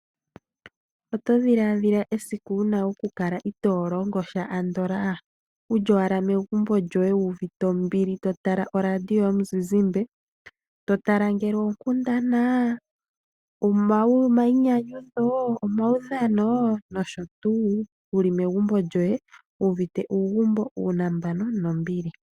Oto dhiladhila esiku wuna okukala itoo longo sha andola wuli owala megumbo lyoye wuuvite ombili totala oradio yomuzizimba, totala ngaashi oonkundana, omainyanyudho , omaudhano wuli megumbo lyoye wuuvite uugumbo, uunambano nombili.